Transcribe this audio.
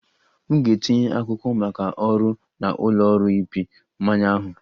M ga-etinye akwụkwọ maka ọrụ na ụlọ ọrụ ịpị mmanya ahụ